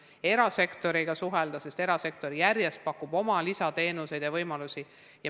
Püüame ka erasektoriga suhelda, sest erasektor pakub järjest lisateenuseid ja muid võimalusi.